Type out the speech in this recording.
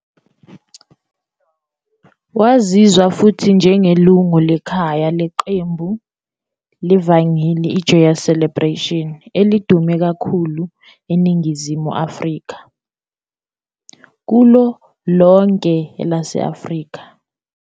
Waziwa futhi njengelungu lekhwaya leqembu levangeli iJoyous Celebration, elidume kakhulu eNingizimu Afrika kulo lonke elase-Afrika.